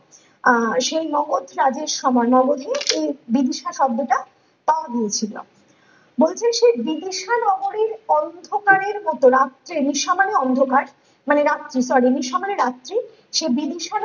আহ সেই মগধ রাজ্যের সময়ে মগধে ও বিভিসা শব্দটা পাওয়া গিয়েছিলো । বলছে সেই বিবিসা নগরীর অন্ধকারের মত রাত্রে নিশা মানে অন্ধকার মানে রাত্রি sorry নিশা মানে রাত্রি সে বিবিসার